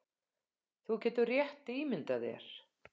Þú getur rétt ímyndað þér